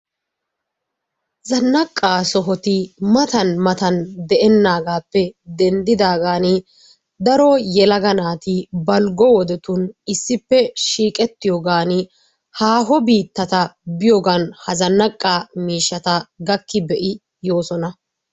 Zannaaqaa sohoti matan matan de'ennaagappe denddiigan daro yelaga naati balggo wodetun iisippe shiiqqetiyoogan haaho biittata biyoogaan ha zannaaqaa miishshata gakki be'idi yoosona.